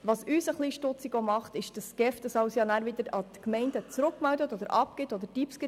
Ein bisschen stutzig macht uns auch, dass die GEF das alles wieder an die Gemeinden zurückmeldet, abgibt und Tipps gibt.